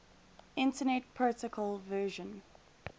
internet protocol version